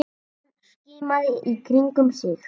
Hann skimaði í kringum sig.